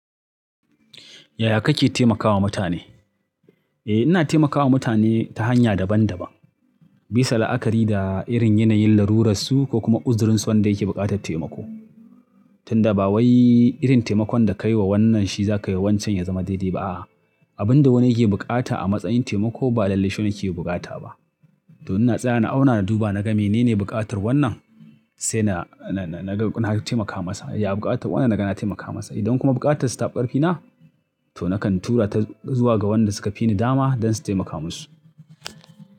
Yaya kake taimakawa mutane? Eh ina taimakawa mutane ta hanya daban daban bisa la'akari da irin yanayin laruransu ko kuma uzurinsa wanda yake buƙatar taimako. Tunda ba wai irin taimakon da ka yi wa wannan shi za ka yi wa wancan ya zama daidai ba. Abin da wani yake bukata a matsayin taimako ba lallai shine yake bukata ba. To ina tsaya na auna na duba na ga menene buƙatar wannan sai na, na, na ga na taimaka masa. Ya buƙata wannan naga na taimaka masa. Idan kuma buƙatar sa tafi ƙarfina to na to nakan tura ta zuwa ga waɗanda suka fi ni dama don su taimaka musu.